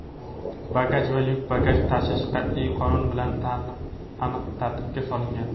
bagaj va yuk bagaj tashish qat’iy qonun bilan aniq tartibga solingan.